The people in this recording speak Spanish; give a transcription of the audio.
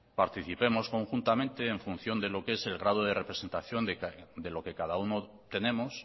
participemos conjuntamente en función de lo que es el grado de representación de lo que cada uno tenemos